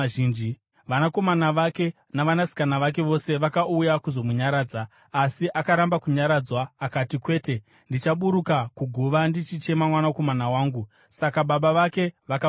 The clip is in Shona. Vanakomana vake navanasikana vake vose vakauya kuzomunyaradza, asi akaramba kunyaradzwa. Akati, “Kwete, ndichaburuka kuguva ndichichema mwanakomana wangu.” Saka baba vake vakamuchema.